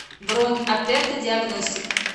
бронь аперто диагностик